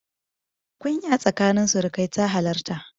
Kunya tsakanin surukai ta halarta.